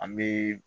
An bɛ